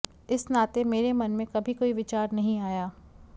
इस नाते मेरे मन में कभी कोई विचार नहीं आया